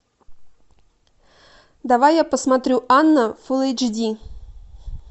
давай я посмотрю анна фул эйч ди